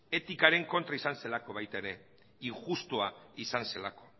etikaren kontra izan zelako baita ere injustua izan zelako